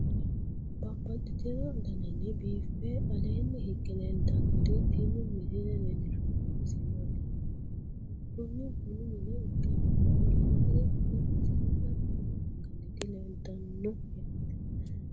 Babaxxittinno daninni biiffe aleenni hige leelittannotti tinni misile lelishshanori isi maattiya yinummoro kunni bunnu mine ikkassinni offolinayiri nna siinna bunna angannitti leelittanno yaatte